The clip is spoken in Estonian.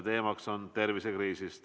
Teemaks on tervisekriis.